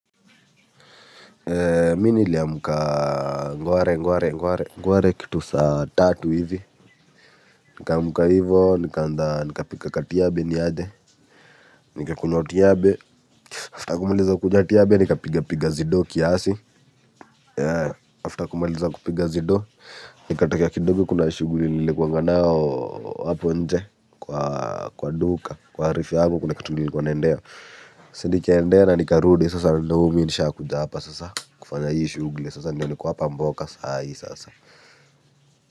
Mi niliamuka ngware ngware ngware kitu saa tatu hivi. Nikaamuka hivyo nikapika ka tiyabe ni aje. Nikakunywa tiyabe After kumaliza kunywa tiyabe nikapiga piga zido kiasi After kumaliza kupiga zido. Nikatokea kidogo kuna shuguli nilikuwanga nayo hapo nje. Kwa duka kwa arifi yangu kuna katu nilikuwa naendea. Sa nikaendea na nikarudi sasa na ndo hu mi nishakuja hapa sasa kufanya hii shugli sasa ndiyo niko hapa mboka saa hii sasa.